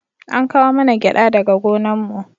An kawo mana gyada daga gonan mu